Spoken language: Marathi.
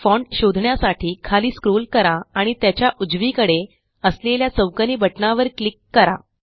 फॉन्ट शोधण्यासाठी खाली स्क्रोल करा आणि त्याच्या उजवीकडे असलेल्या चौकोनी बटणावर क्लिक करा